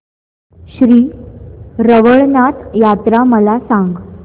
श्री रवळनाथ यात्रा मला सांग